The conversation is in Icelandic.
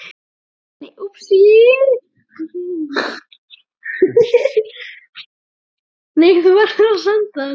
Grét, læstu útidyrunum.